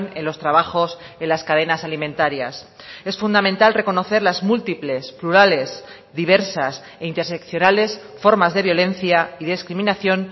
en los trabajos en las cadenas alimentarias es fundamental reconocer las múltiples plurales diversas e interseccionales formas de violencia y discriminación